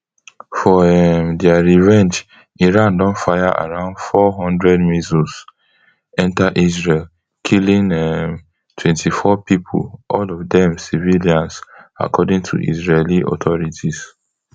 for um dia revenge iran don fire around four hundred missiles enta israel killing um twenty-four pipo all of dem civilians according to israeli authorities